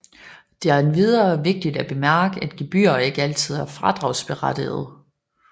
Det er endvidere vigtigt at bemærke at gebyrer ikke altid er fradragsberettigede